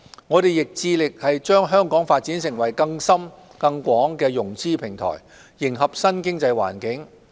我們亦致力把香港發展成更深更廣的融資平台，迎合新經濟環境。